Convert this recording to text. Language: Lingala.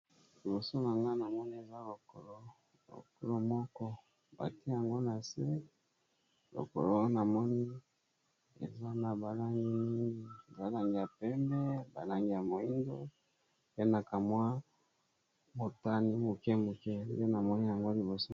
Liboso na nga na moni eza lokolo lokolo moko batie yango na se lokolo wana moni eza na balangi mingi za langi ya pembe balangi ya moyindo pe na kamwa motani moke moke pe na moni yango liboso.